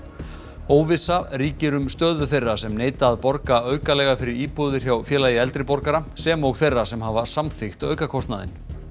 óvissa ríkir um stöðu þeirra sem neita að borga aukalega fyrir íbúðir hjá Félagi eldri borgara sem og þeirra sem hafa samþykkt aukakostnaðinn